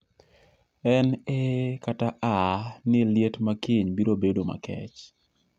en eee kata aaa ni liet ma kiny biro bedo makech